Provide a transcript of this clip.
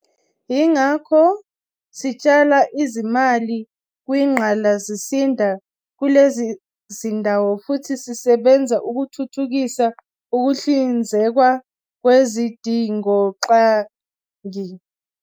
Yingakho sitshala izimali kwingqalasizinda kulezi zindawo futhi sisebenza ukuthuthukisa ukuhlinzekwa kwezidingongqangi.